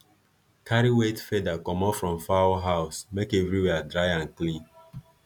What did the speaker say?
carry wet feather comot from fowl house make everywhere dry and clean